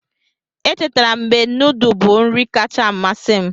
Echetara m mgbe nudu bụ nri kacha amasị m.